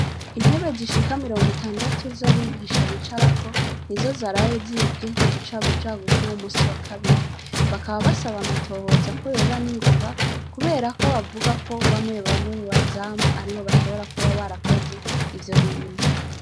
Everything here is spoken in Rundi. Intebe zishika miringo itandatu z'abigisha bicarako nizo zaraye zibwe mu bucagucagu bwuyu munsi wa kabiri bakaba basaba amatohoza ko yoba ningoga kuberako bavugako bamwe bamwe mubazamu aribo bashobora kuba barakoze ivyo bintu.